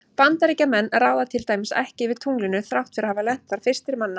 Bandaríkjamenn ráða til dæmis ekki yfir tunglinu þrátt fyrir að hafa lent þar fyrstir manna.